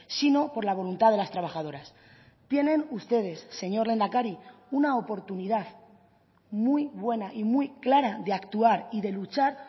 sino por la voluntad de las trabajadoras tienen ustedes señor lehendakari una oportunidad muy buena y muy clara de actuar y de luchar